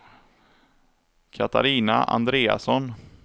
Katarina Andreasson